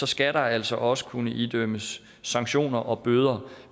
skal der altså også kunne idømmes sanktioner og bøder